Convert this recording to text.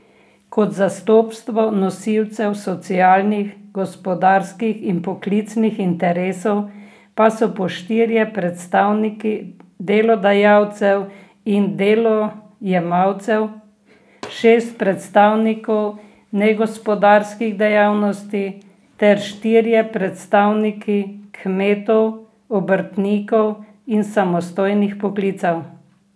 Kot zastopstvo nosilcev socialnih, gospodarskih in poklicnih interesov pa so po štirje predstavniki delodajalcev in delojemalcev, šest predstavnikov negospodarskih dejavnosti ter štirje predstavniki kmetov, obrtnikov in samostojnih poklicev.